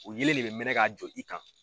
O yelen de bɛ mɛnɛn k'a jɔ i kan.